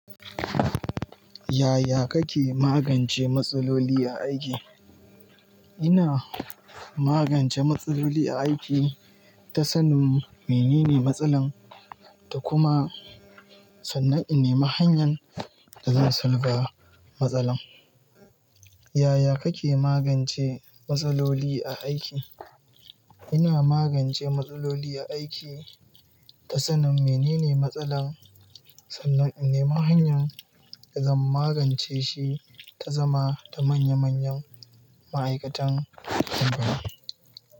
Yaya kake magance matsaloli a aiki? Ina magance matsaloli a aiki ta sanin menene matsalar, da kuma sannan ina mahanyan da zan sulba matsalar. Yaya kake magance matsaloli a aiki? Ina magance matsaloli a aiki ta sanin menene matsalar, sannan in nemi hanyan da zan magance shi, ta zama da manya manyan ma'aikatan kungiya.